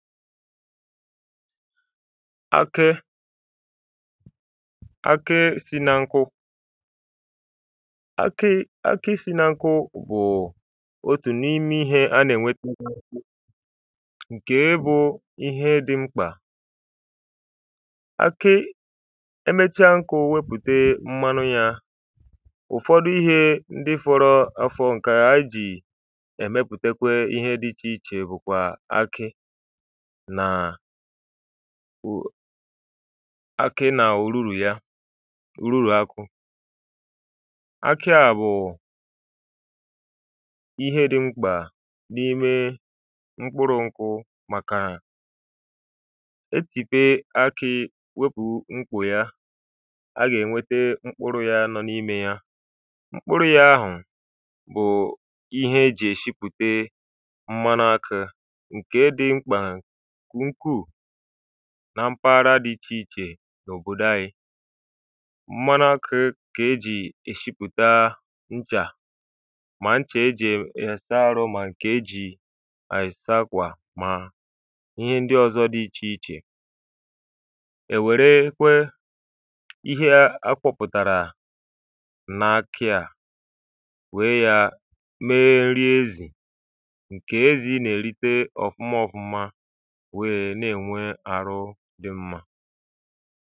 akė akė si na nkụ akị̇ akị si na nkụ bù òtù n’ime ihė a na-ènweta ǹkè ị bụ̇ ihe dị̇ mkpà akị ẹmẹchaa nkà ò wepùte mmanu̇ yȧ ụ̀fọdụ ihė ndị fọrọ afọ ǹkẹ̀ a ji ẹ̀mẹputekwe ihe dị ichè ichè bụ̀ nàà kwùọ akị̇ nà òruru̇ ya ruru̇ akụ̇ akị à bụ̀ụ̀ ihe dị̇ mkpà n’ime mkpuru̇ nkụ màkà etìpe akị̇ wepù mkpù ya a gà-ènwete mkpuru̇ ya nọ n’imė ya mkpuru̇ ya ahụ̀ bụ̀u ihe e jì èshipụ̀te mmanụ akȧ kùnkuù na mpaghara dị ichè ichè n’òbòdo anyị mmanụ akụ̇ kà ejì ishipụ̀ta nchà mà nchè ejì èya saa arụ mà nkè ejì àyị̀ saa kwà mà ihe ndị ọzọ dị ichè ichè èwèrekwe ihe a akwọ̇pụ̀tàrà n’akị̇ à wee yȧ mee nri ezì nkè ezì nà-èlite ọ̀fụma ọfụma dị̀ mmȧ